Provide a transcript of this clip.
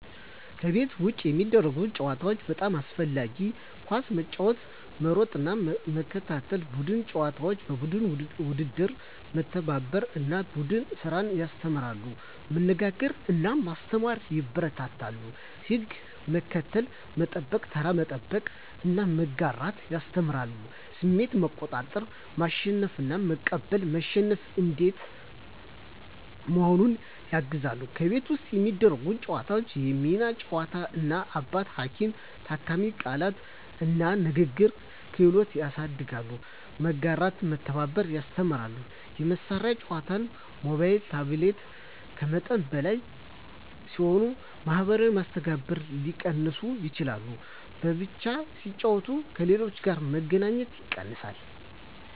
ከቤት ውጭ የሚደረጉ ጨዋታዎች (በጣም አስፈላጊ) ኳስ መጫወት መሮጥና መከታተል ቡድን ጨዋታዎች (የቡድን ውድድር) መተባበርን እና ቡድን ስራን ያስተምራሉ መነጋገርን እና መስማትን ያበረታታሉ ሕግ መከተል፣ መጠበቅ (ተራ መጠበቅ) እና መጋራት ያስተምራሉ ስሜት መቆጣጠር (መሸነፍን መቀበል፣ መሸነፍ እንዴት መሆኑን) ያግዛሉ ከቤት ውስጥ የሚደረጉ ጨዋታዎች የሚና ጨዋታ (እናት–አባት፣ ሐኪም–ታካሚ) ቃላት እና ንግግር ክህሎት ያሳድጋሉ መጋራትና መተባበር ያስተምራሉ የመሳሪያ ጨዋታዎች (ሞባይል/ታብሌት) ከመጠን በላይ ሲሆኑ የማኅበራዊ መስተጋብርን ሊቀንሱ ይችላሉ በብቻ ሲጫወቱ ከሌሎች ጋር መገናኘት ይቀንሳል